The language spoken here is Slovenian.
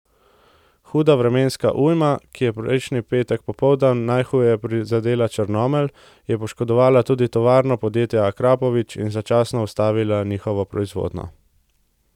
Huda vremenska ujma, ki je prejšnji petek popoldan najhuje prizadela Črnomelj, je poškodovala tudi tovarno podjetja Akrapovič in začasno ustavila njihovo proizvodnjo.